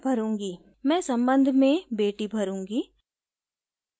मैं संबंध में बेटी भरूँगी